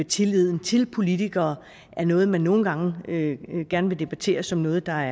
tilliden til politikere er noget man nogle gange gerne vil debattere som noget der